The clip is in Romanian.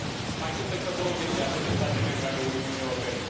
Mai sunt încă 26 de state membre ale Uniunii Europene.